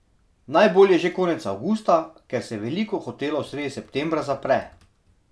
Najbolje že konec avgusta, ker se veliko hotelov sredi septembra zapre.